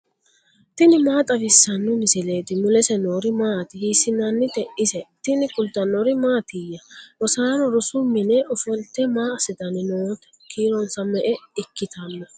tini maa xawissanno misileeti ? mulese noori maati ? hiissinannite ise ? tini kultannori mattiya? rosaanno rosu minne offolitte maa asittanni nootte? kiironsa me'e ikkitanno?